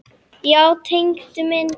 Þeir höfðu útkljáð málið.